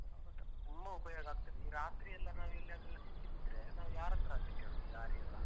ತುಂಬ ಉಪಯೋಗ ಆಗ್ತದೆ. ಈ ರಾತ್ರಿಯೆಲ್ಲ ನಾವೆಲ್ಲಿಯಾದ್ರೂ ಸಿಕ್ಕಿಬಿದ್ರೆ ನಾವು ಯಾರತ್ರಾಂತ ಕೇಳುದು ದಾರಿಯೆಲ್ಲ?